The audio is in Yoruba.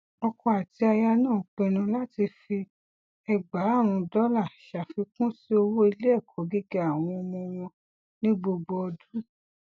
ọkọ àti aya náà pinnu láti fi ẹgbàárún dọlà ṣàfikún sí owó iléẹkọ gíga àwọn ọmọ wọn ní gbogbo ọdún